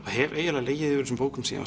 hef eiginlega legið yfir þessum bókum síðan